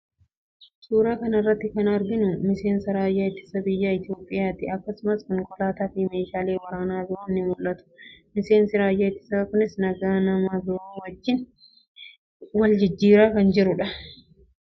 Suuraa kana irratti kan arginu miseensa raayyaa ittisa biyyaa Itoophiyaa ti. Akkasumas konkolaataa fi meeshaalee waraanaa biroon ni mul'atu. Miseensi raayyaa ittisaa kunis nagaa nama biroo wajjin wal jijjiiraa jira.